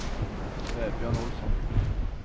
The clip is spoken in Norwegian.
Vebjørn Olsson